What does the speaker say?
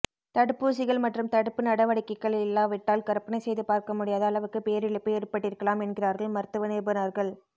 தடுப்பூசிகள் மற்றும் தடுப்பு நடவடிக்கைகள் இல்லாவிட்டால் கற்பனை செய்து பார்க்க முடியாத அளவுக்கு பேரிழப்பு ஏற்பட்டிருக்கலாம் என்கிறார்கள் மருத்துவ நிபுணர்கள்